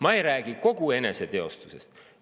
Ma ei räägi kogu eneseteostusest.